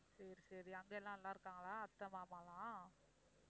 சரி சரி அங்க எல்லாம் நல்லா இருக்காங்களா அத்தை மாமாலாம்?